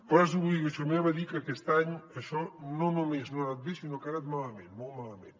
però ara és obligació meva dir que aquest any això no només no ha anat bé sinó que ha anat malament molt malament